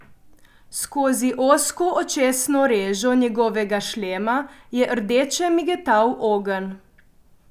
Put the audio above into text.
Skozi ozko očesno režo njegovega šlema je rdeče migetal ogenj.